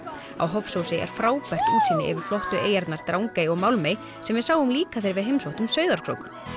á Hofsósi er frábært útsýni yfir flottu eyjarnar Drangey og Málmey sem við sáum líka þegar við heimsóttum Sauðárkrók